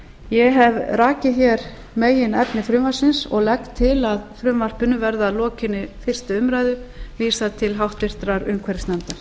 ég hef rakið meginefni frumvarpsins og legg til að frumvarpinu verði að lokinni fyrstu umræðu vísað til háttvirtrar umhverfisnefndar